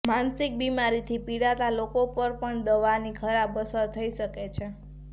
માનસિક બીમારીથી પીડાતા લોકો પર પણ દવાની ખરાબ અસર થઈ શકે છે